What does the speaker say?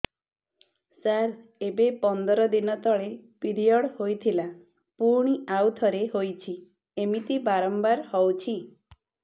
ସାର ଏବେ ପନ୍ଦର ଦିନ ତଳେ ପିରିଅଡ଼ ହୋଇଥିଲା ପୁଣି ଆଉଥରେ ହୋଇଛି ଏମିତି ବାରମ୍ବାର ହଉଛି